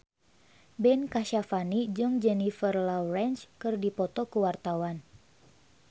Ben Kasyafani jeung Jennifer Lawrence keur dipoto ku wartawan